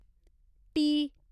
T